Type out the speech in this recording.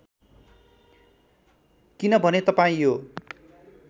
किनभने तपाईँ यो